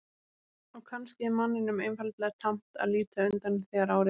Og kannski er manninum einfaldlega tamt að líta undan þegar á reynir.